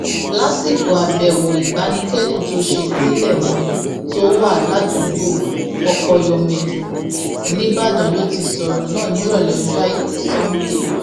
lásìkò àbẹwò ìbánikẹdùn tó ṣe sílẹ wọn tó wà ládùúgbò pọpọyọmẹjọ ńìbàdàn ló ti sọrọ náà nírọlẹ ọjọ àìkú sannde